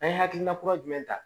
An ye hakilina kura jumɛn ta